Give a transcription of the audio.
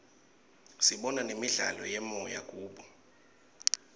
sibona nemidlalo yemoya kubo